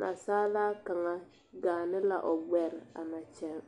nasaalaa kaŋa gaane la o gbɛre a na kyɛŋ.